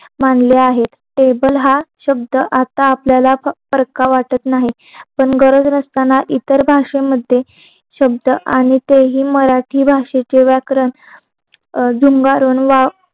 मांडले आहेत टेबल हा शब्द आता आपल्याला परखा वाटत नाही पण गरज नसताना इतर भाषेमध्ये शब्द आणि ते हि मराठी भाषेची व्याकरण जे वारं वार